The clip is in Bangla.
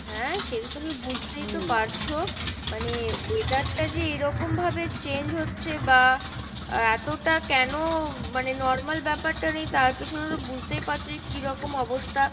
হ্যাঁ সেটা তুমি বুঝতেই তো পারছো মানে weather টা যে এরকম ভাবে change হচ্ছে বা আহ এতটা কেনো মানে normal ব্যাপার টা নিয়ে তার পেছনে তো বুঝতেই পারছো যে কীরকম অবস্থা,